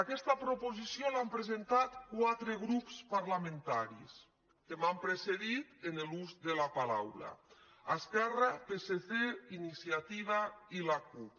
aquesta proposició l’han presentat quatre grups parlamentaris que m’han precedit en l’ús de la paraula esquerra psc iniciativa i la cup